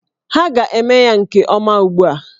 Ha ga-eme ya nke ọma ugbu a!